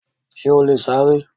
Ṣè ó lè ṣàrẹ̀?